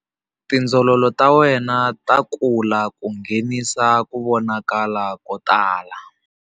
TIndzololo ta wena ta kula ku nghenisa ku vonakala ko tala.